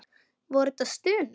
Voru þetta stunur?